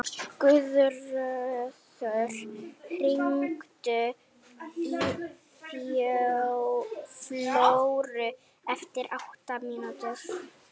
Guðröður, hringdu í Flóru eftir átta mínútur.